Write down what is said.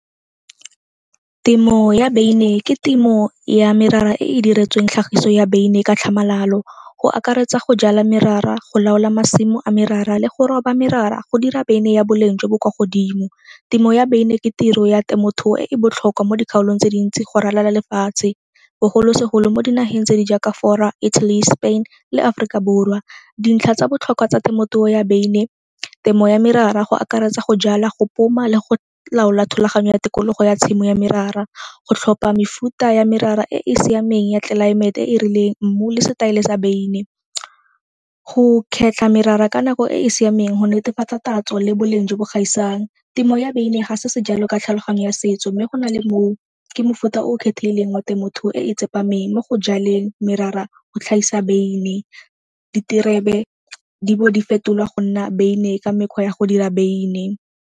Temo ya beine ke temo ya merara e e diretsweng tlhagiso ya beine ka tlhamalalo, go akaretsa go jala merara, go laola masimo a merara le go roba merara go dira beine ya boleng jo bo kwa godimo. Temo ya beine ke tiro ya temothuo e e botlhokwa mo dikgaolong tse dintsi go ralala lefatshe bogolosegolo mo dinageng tse di jaaka Fora, Italy, Spain le Aforika Borwa. Dintlha tsa botlhokwa tsa temothuo ya beine temo ya merara go akaretsa go jala, go poma le go laola thulaganyo ya tikologo ya tshimo ya merara, go tlhopha mefuta ya merara e e siameng ya tlelaemete e e rileng mmu le setaele sa beine. Go kgetlha merara ka nako e e siameng go netefatsa tatso le boleng jo bo gaisang. Temo ya beine ga se sejalo ka tlhaloganyo ya setso mme go na le moo ke mofuta o o kgethegileng mo temothuo e e tsepameng mo go jaleng merara go tlhagisa beine. Diterebe di bo di fetolwa go nna beine ka mekgwa ya go dira beine.